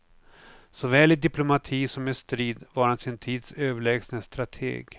Såväl i diplomati som i strid var han sin tids överlägsne strateg.